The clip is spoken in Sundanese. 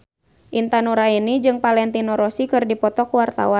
Intan Nuraini jeung Valentino Rossi keur dipoto ku wartawan